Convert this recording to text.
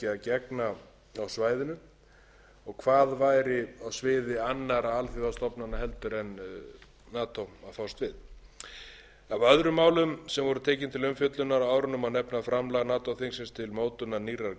gegna á svæðinu og hvað væri á sviði annarra alþjóðastofnana en nato að fást við af öðrum málum sem voru tekin til umfjöllunar á árinu má nefna framlag nato þingsins til mótunar nýrrar